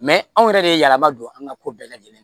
anw yɛrɛ de ye yalama don an ka ko bɛɛ lajɛlen ye